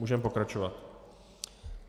Můžeme pokračovat.